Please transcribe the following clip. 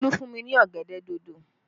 Olu fún mi ní ọ̀gẹ̀dẹ̀ dòdò